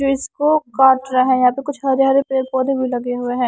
जो इसको काट रहे हैं यहां पे कुछ हरे हरे पेड़ पौधे भी लगे हुए हैं।